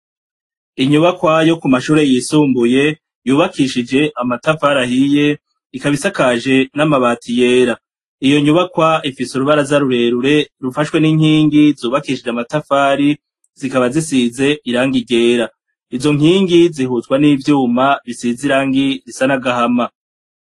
Inyubakwayo ku mashure yisumbuye yubakishije amatafari ahiye ikabaisakaje n'amabati yera iyo nyubakwa ifise urubara z'arurerure rufashwe n'inkingi zubakishije amatafari zikaba zisize iranga iryera izo nkingi zihuzwa n'ivyuma bisiz irangi risa n'agahama.